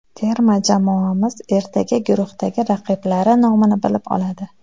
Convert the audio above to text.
Terma jamoamiz ertaga guruhdagi raqiblari nomini bilib oladi.